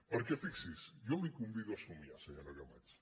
perquè fixi s’hi jo la convido a somiar senyora camats